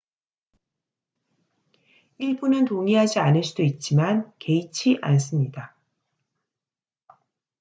"""일부는 동의하지 않을 수도 있지만 개의치 않습니다.